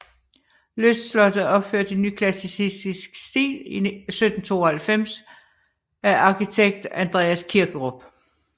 Lystslottet er opført i nyklassicistisk stil i 1792 af arkitekt Andreas Kirkerup